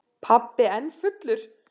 Pabbi enn fullur.